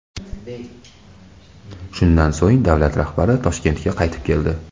Shundan so‘ng davlat rahbari Toshkentga qaytib keldi.